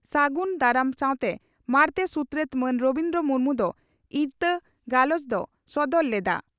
ᱜᱩᱱ ᱫᱟᱨᱟᱢ ᱥᱟᱶᱛᱮ ᱢᱟᱬᱛᱮ ᱥᱩᱛᱨᱮᱛ ᱢᱟᱱ ᱨᱚᱵᱤᱱᱫᱨᱚ ᱢᱩᱨᱢᱩ ᱫᱚ ᱤᱛᱟᱹ ᱜᱟᱞᱚᱪ ᱮ ᱥᱚᱫᱚᱨ ᱞᱮᱫᱼᱟ ᱾